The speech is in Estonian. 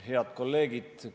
Head kolleegid!